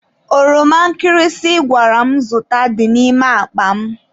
Oroma nkịrịsị ị gwara m zụta dị n'ime akpa m.